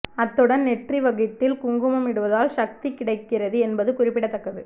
அத்துடன் நெற்றி வகிட்டில் குங்குமம் இடுவதால் சக்தி கிடைக்கிறது என்பதும் குறிப்பிடத்தக்கது